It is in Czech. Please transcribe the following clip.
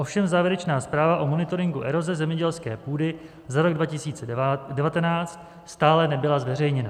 Ovšem závěrečná zpráva o monitoringu eroze zemědělské půdy za rok 2019 stále nebyla zveřejněna.